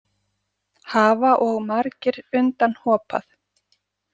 Hafa og margir undan hopað.